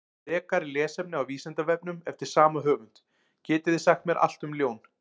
Frekara lesefni á Vísindavefnum eftir sama höfund: Getið þið sagt mér allt um ljón?